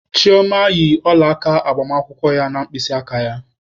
Chioma yi ọla aka agbamakwụkwọ ya na mkpịsị aka ya